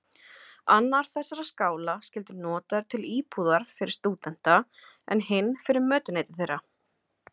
Annar þessara skála skyldi notaður til íbúðar fyrir stúdenta, en hinn fyrir mötuneyti þeirra.